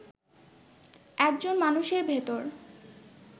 একজন মানুষের ভেতর